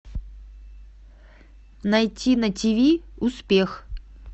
найти на тиви успех